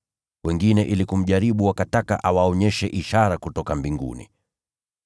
Wengine ili kumjaribu wakataka awaonyeshe ishara kutoka mbinguni.